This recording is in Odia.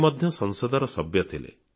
ସେ ମଧ୍ୟ ସଂସଦର ସଭ୍ୟ ଥିଲେ